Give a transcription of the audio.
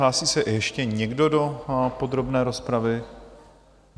Hlásí se ještě někdo do podrobné rozpravy?